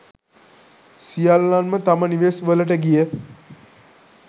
සියල්ලන්ම තම නිවෙස් වලට ගිය